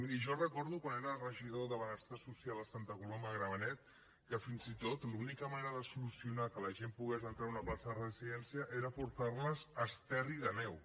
miri jo recordo quan era regidor de benestar social a santa coloma de gramenet que fins i tot l’única manera de solucionar que la gent pogués entrar a una plaça de residència era portar les a esterri d’àneu